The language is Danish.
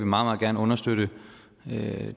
meget gerne understøtte det